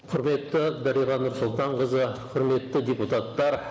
құрметті дариға нұрсұлтанқызы құрметті депуттар